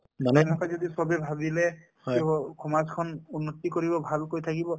মানে এনেকুৱা যদি সবে ভাবিলে টো সমাজ খন উন্নতি কৰিব ভালকৈ থাকিব ।